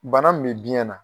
Bana min bɛ biyɛn na